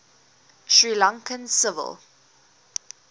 sri lankan civil